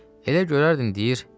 Elə görərdin, deyir: